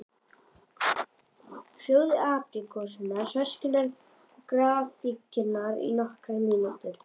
Sjóðið apríkósurnar, sveskjurnar og gráfíkjurnar í nokkrar mínútur.